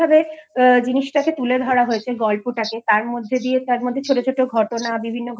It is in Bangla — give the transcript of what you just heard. জিনিস টা কে তুলে ধরা হয়েছে গল্পটা কে তার মধ্যে দিয়ে তার মধ্যে ছোট ছোট ঘটনা বিভিন্ন